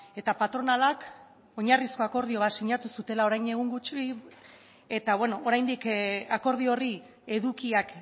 eta patronalak oinarrizko akordio bat sinatu zutela orain dela egun gutxi eta oraindik akordio horri edukiak